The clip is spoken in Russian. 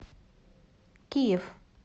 киев